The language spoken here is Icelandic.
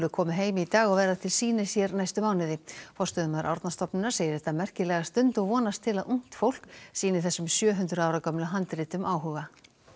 komu heim í dag og verða til sýnis hér næstu mánuði forstöðumaður Árnastofnunar segir þetta merkilega stund og vonast til að ungt fólk sýni þessum sjö hundruð ára gömlu handritum áhuga